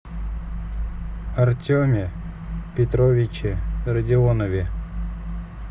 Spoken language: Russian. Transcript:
артеме петровиче радионове